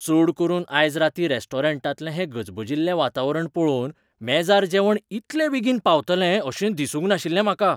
चड करून आयज रातीं रेस्टॉरंटांतलें हें गजबजिल्लें वातावरण पळोवन मेजार जेवण इतले बेगीन पावतलें अशें दिसूंक नाशिल्लें म्हाका.